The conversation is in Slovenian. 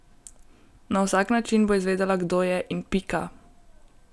Na vsak način bo izvedela, kdo je in pika!